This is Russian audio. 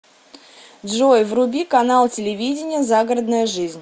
джой вруби канал телевидения загородная жизнь